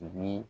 Ni